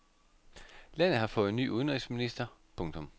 Landet har fået ny udenrigsminister. punktum